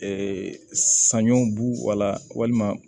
saɲɔ bu wala walima